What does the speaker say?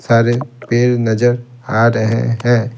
सारे पेड़ नजर आ रहे हैं।